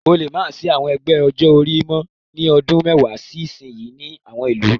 Ó le má sì í àwọn ẹgbẹ́ ọjọ́-orí mọ́ ní ọdún mẹ́wàá sí ìsìnyín ní àwọn ìlú.